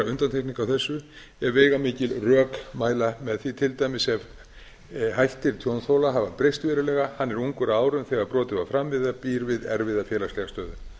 undantekningu á þessu ef veigamikil rök mæla með því til dæmis ef hættir tjónþola hafa breyst verulega hann er ungur að árum þegar brotið var framið eða býr við erfiða félagslega stöðu